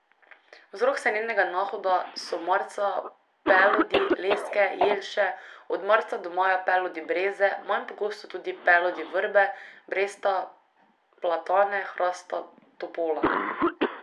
Vzrok senenega nahoda so marca pelodi leske, jelše, od marca do maja pelodi breze, manj pogosto tudi pelodi vrbe, bresta, platane, hrasta, topola.